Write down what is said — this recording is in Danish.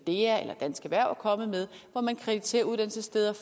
dea eller dansk erhverv er kommet med hvor man krediterer uddannelsessteder